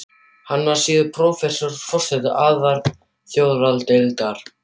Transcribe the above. Hann varð síðar prófessor og forseti alþjóðadeildar